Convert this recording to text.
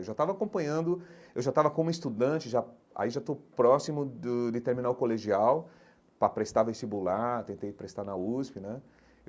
Eu já estava acompanhando, eu já estava como estudante, já aí já estou próximo du de terminar o colegial para prestar vestibular, tentei prestar na USP né.